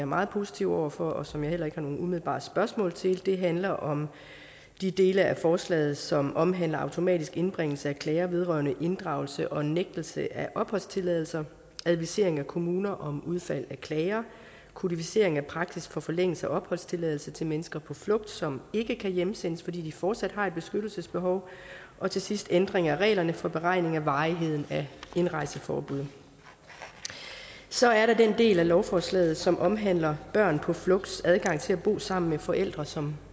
meget positiv over for og som jeg heller ikke umiddelbart spørgsmål til handler om de dele af forslaget som omhandler automatisk indbringelse af klager vedrørende inddragelse og nægtelse af opholdstilladelse advisering af kommuner om udfald af klager kodificering af praksis for forlængelse af opholdstilladelse til mennesker på flugt som ikke kan hjemsendes fordi de fortsat har et beskyttelsesbehov og til sidst ændring af reglerne for beregning af varigheden af indrejseforbud så er der den del af lovforslaget som omhandler børn på flugts adgang til at bo sammen med forældre som